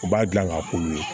U b'a dilan k'a k'olu ye